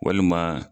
Walima